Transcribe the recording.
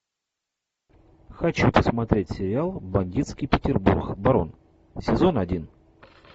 хочу посмотреть сериал бандитский петербург барон сезон один